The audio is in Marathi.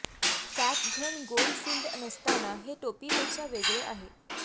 कॅप घन गोल फील्ड नसताना हे टोपीपेक्षा वेगळे आहे